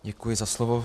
Děkuji za slovo.